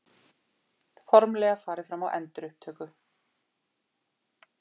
Formlega farið fram á endurupptöku